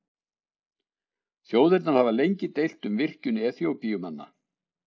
Þjóðirnar hafa lengi deilt um virkjun Eþíópíumanna.